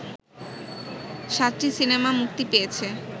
৭টি সিনেমা মুক্তি পেয়েছে